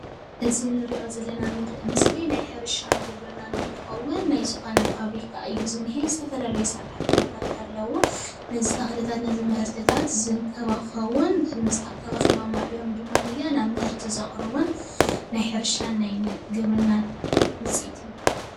እዚ ንሪኦ ዘለና ምስሊ ናይ ሕርሻን ግብርናን እንትኸውን ናይ ዝኾነ ፋብሪካ እዩ ዝኒሀ፡፡ ዝተፈላለዩ ሰራሕተኛታት ኣለዉዎ፡፡ ነዚ ተኽልታት ነዚ ምህርትታት ዝንከባኸቡን ተንከባኺቦም ኣዕብዮም ድማነየ ናብ ምህርቲ ዘቕርቡን ናይ ሕርሻን ናይ ግብርናን ውፅኢት እዩ፡፡